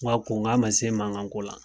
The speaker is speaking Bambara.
N k'a ko a ma se mankan ko la